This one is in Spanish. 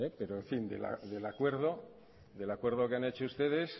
del acuerdo que han hecho ustedes